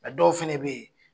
nka dɔw fana bɛ yen.